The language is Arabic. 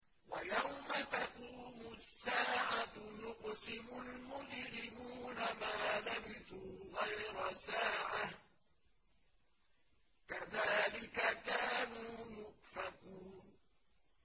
وَيَوْمَ تَقُومُ السَّاعَةُ يُقْسِمُ الْمُجْرِمُونَ مَا لَبِثُوا غَيْرَ سَاعَةٍ ۚ كَذَٰلِكَ كَانُوا يُؤْفَكُونَ